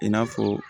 I n'a fɔ